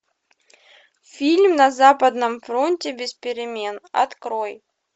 фильм на западном фронте без перемен открой